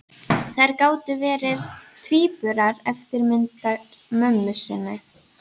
Þær gátu vel verið tvíburar, eftirmyndir mömmu sinnar.